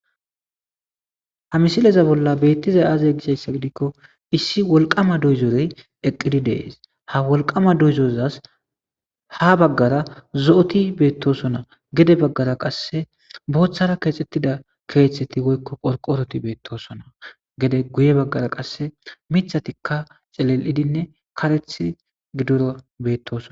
Ha misileza bolla beettizay aazey gishayssa gidikko issi wolqama doyzorey eqqidi dees ha wolqama doyzozas ha baggara zo'oti beettosona gede baggara qasse booththara keexxettida keexetti goykko qorqoroti beettosona gede guye baggara qasse mithatikka celel'idinne kareth gidora beettoso.